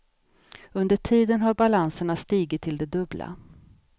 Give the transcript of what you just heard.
Under tiden har balanserna stigit till det dubbla.